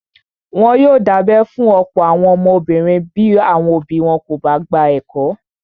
Wọ́n yóò dábẹ́ fún ọ̀pọ̀ àwọn ọmọbìnrin bí àwọn òbí wọn kò bá gba ẹ̀kọ́.